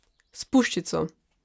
S puščico!